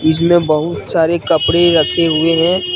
इसमें बहुत सारे कपड़े रखे हुए हैं।